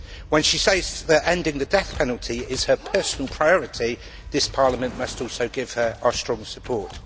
When she says that ending the death penalty is her personal priority, this Parliament must also give her our strong support.